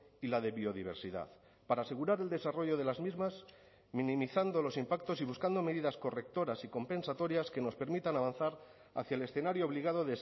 y la de biodiversidad para asegurar el desarrollo de las mismas minimizando los impactos y buscando medidas correctoras y compensatorias que nos permitan avanzar hacia el escenario obligado